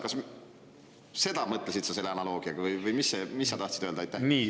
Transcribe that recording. Kas sa seda mõtlesid selle analoogiaga või mis sa tahtsid öelda?